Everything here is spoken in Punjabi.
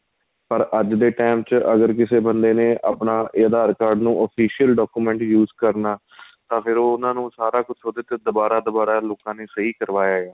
ਪਰ ਅੱਜ ਦੇ time ਚ ਅਗਰ ਕਿਸੇ ਬੰਦੇ ਨੇ ਆਪਣਾ ਏ aadhar card ਨੂੰ official document use ਕਰਨਾ ਤਾਂ ਫ਼ੇਰ ਉਹਨਾ ਨੂੰ ਸਾਰਾ ਕੁੱਛ ਦੁਬਾਰਾ ਦੁਬਾਰਾ ਲੋਕਾਂ ਨੇ ਸਹੀਂ ਕਰਵਾ ਏ